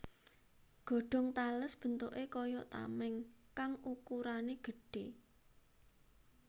Godhong tales bentuké kaya tamèng kang ukurané gedhé